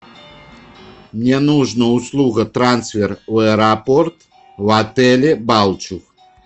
мне нужно услуга трансфер аэропорт в отеле балчуг